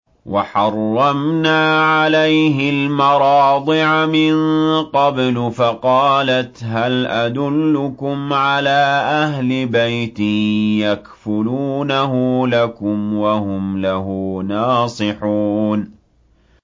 ۞ وَحَرَّمْنَا عَلَيْهِ الْمَرَاضِعَ مِن قَبْلُ فَقَالَتْ هَلْ أَدُلُّكُمْ عَلَىٰ أَهْلِ بَيْتٍ يَكْفُلُونَهُ لَكُمْ وَهُمْ لَهُ نَاصِحُونَ